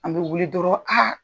An be wuli dɔrɔɔ aa